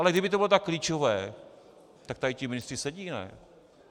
Ale kdyby to bylo tak klíčové, tak tady ti ministři sedí, ne?